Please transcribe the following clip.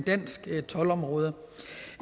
dansk toldområde